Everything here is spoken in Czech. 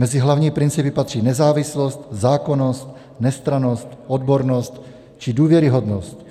Mezi hlavní principy patří nezávislost, zákonnost, nestrannost, odbornost či důvěryhodnost.